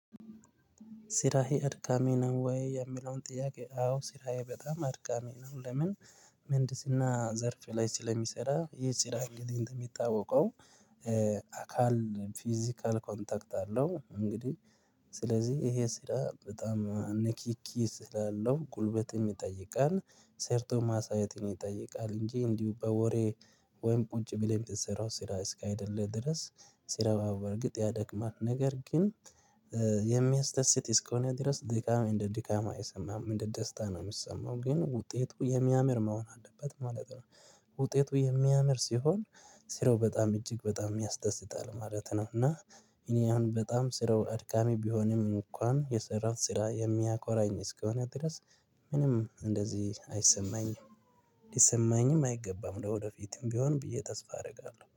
ስራዬ እድካሚ ነው ወይ? የሚለውን ጥያቄ አዎ ስራዬ በጣም አድካሚ ነው። ለምን ምህንድስና ዘርፍ ላይ ስለሚሰራ ይህ ስራ እንደሚታወቀው አካል ፊዚካል ኮንታክት አለው። እንግዲህ ስለዚህ ይሄ ስራ በጣም ንኪኪ ስላለው ጉልበትም ይጠይቃ፤ ሰርቶ ማሳየትን ይጠይቃል። እንጂ እንዲሁ በወሬ ወይም ቁጭ ብለን ብንሰራው ስራ እስካይደለነ ድረስ ስራ በርግጥ ያደክማል ነገር ግን የሚያስደስት እስከሆነ ድረስ ድካም እንደ ድካም አይሰማም እንደ ደስታ ነው የሚሰማው ግን ውጤቱ የሚያምር መሆን አለበት ማለት ነው ውጤቱ የሚያምር ሲሆን ስራው በጣም እጅግ በጣም ሚያስደስታል ማለት ነው እና እኔ አሁን በጣም ስራው አድካሚ ቢሆንም እንኳን የሰራሁት ስራ የሚያኮራኝ እስከሆነ ድረስ ምንም እንደዚህ አይሰማኝም ሊሰማኝም አይገባም ለወደፊቱም ቢሆን ብዬ ተስፋ አደርጋለሁ።